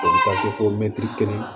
O bɛ taa se fo kelen